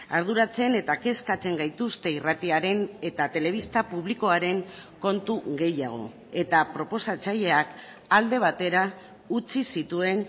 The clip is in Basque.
arduratzen eta kezkatzen gaituzte irratiaren eta telebista publikoaren kontu gehiago eta proposatzaileak alde batera utzi zituen